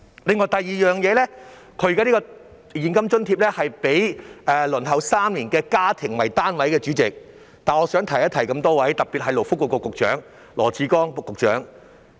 另一方面，代理主席，政府提供這項現金津貼時，是以已輪候公屋3年的家庭為單位，但我想提醒諸位局長，特別是勞工及福利局局長羅致光。